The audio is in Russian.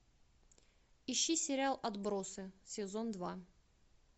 ищи сериал отбросы сезон два